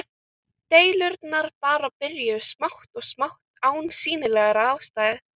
Deilurnar bara byrjuðu smátt og smátt án sýnilegrar ástæðu.